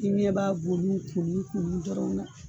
I ɲɛ b'a bonu kunni kunni dɔrɔn na